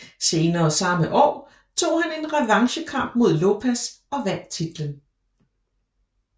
Senere samme år tog han en revanchekamp mod Lopez og vandt titlen